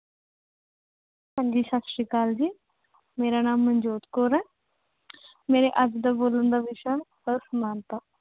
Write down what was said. ਹਾਂਜੀ ਸਤਿ ਸ੍ਰੀ ਅਕਾਲ ਜੀ, ਮੇਰਾ ਨਾਮ ਮਨਜੋਤ ਕੌਰ ਹੈ। ਮੇਰੇ ਅੱਜ ਦਾ ਬੋਲਣ ਦਾ ਵਿਸ਼ਾ- ਅਸਮਾਨਤਾ